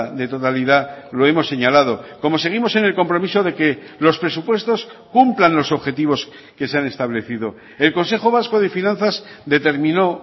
de totalidad lo hemos señalado como seguimos en el compromiso de que los presupuestos cumplan los objetivos que se han establecido el consejo vasco de finanzas determinó